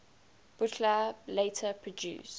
buchla later produced